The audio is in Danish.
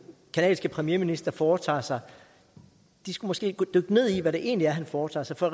canadiske premierminister foretager sig måske dykke ned i hvad det egentlig er han foretager sig for